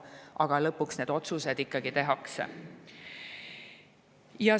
Aga lõpuks need otsused tehakse.